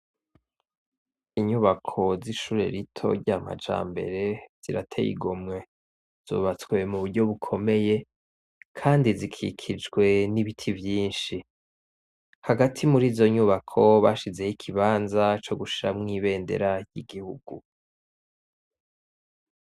Iyubako z'ishure rito rya Majambere zirateye igomwe. Zubatswe mu buryo bukomeye, kandi zikikijwe n'ibiti vyinshi. Hagati muri izo nyubako bashizeyo ikibanza co gushiramwo ibendera ry'igihugu.